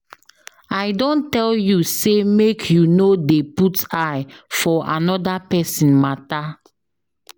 I don tell you sey make you no dey put eye for anoda pesin mata.